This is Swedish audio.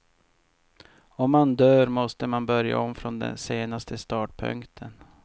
Om man dör måste man börja om från den senaste startpunkten.